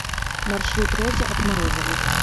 маршрут розы от морозовой